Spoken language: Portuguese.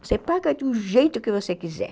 Você paga do jeito que você quiser.